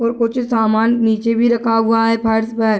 और कुछ सामान नीचे भी रखा हुआ है फर्श पर।